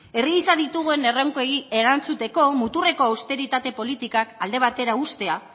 herri gisa ditugun erronkei erantzuteko muturreko austeritate politikak alde batera uztea